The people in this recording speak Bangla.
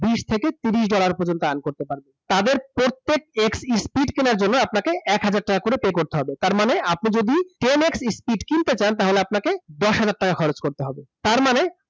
বিশ থেকে তিরিশ dollar পর্যন্ত earn করতে পারবেন । তাদের প্রত্যেক X speed কিনার জন্য আপনাকে এক হাজার টাকা করে pay করতে হবে তার মানে আপনি যদি ten x speed কিনতে চান, তাহলে আপনাকে দশ হাজার টাকা খরচ করতে হবে । তার মানে